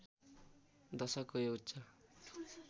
दशकको यो उच्च